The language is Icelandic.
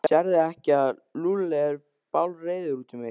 Sérðu ekki að Lúlli er bálreiður út í mig?